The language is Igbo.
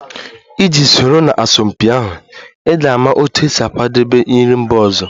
Iji soro na asọmpi ahụ, ị ga-ama otú e si akwadebe nri mba ọzọ